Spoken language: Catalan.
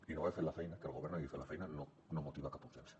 i no haver fet la feina que el govern no hagi fet la feina no motiva cap objecció